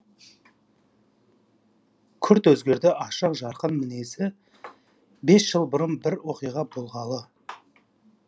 күрт өзгерді ашық жарқын мінезі бес жыл бұрын бір оқиға болғалы